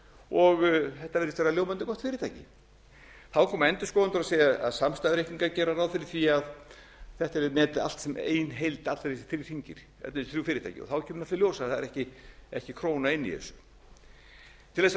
og þetta virðist vera ljómandi gott fyrirtæki þá koma endurskoðendur og segja samstæðureikningar geri ráð fyrir því að þetta yrði metið allt sem ein heild allir þessir þrír hringir þessi þrjú fyrirtæki þá kemur náttúrlega í ljós að það er ekki króna inni í þessu til þess að